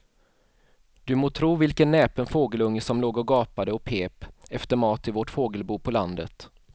Du må tro vilken näpen fågelunge som låg och gapade och pep efter mat i vårt fågelbo på landet.